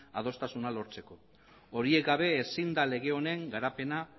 adostasuna lortzeko horiek gabe ezin da lege honen garapena